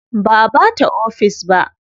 Ba a bata ofis ba.